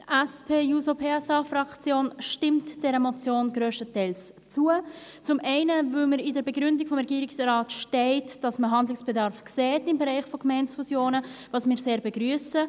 Die SP-JUSO-PSA-Fraktion stimmt dieser Motion grösstenteils zu, zum einen, weil in der Begründung des Regierungsrates steht, dass man im Bereich der Gemeindefusionen Handlungsbedarf sieht, was wir sehr begrüssen.